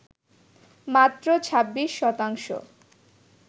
মাত্র ২৬ শতাংশ